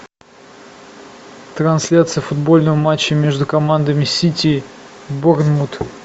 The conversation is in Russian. трансляция футбольного матча между командами сити борнмут